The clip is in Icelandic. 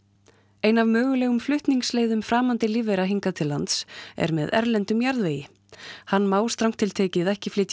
ein af mögulegum flutningsleiðum framandi lífvera hingað til lands er með erlendum jarðvegi hann má strangt til tekið ekki flytja